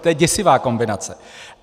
To je děsivá kombinace.